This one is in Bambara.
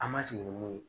An ma sigi ni mun ye